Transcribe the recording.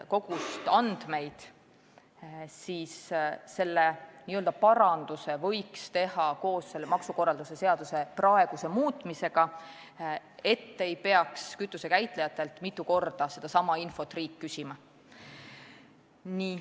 Nüüd leiti, et selle n-ö paranduse võiks teha maksukorralduse seadust praegu muutes, et riik ei peaks kütuse käitlejatelt mitu korda sedasama infot küsima.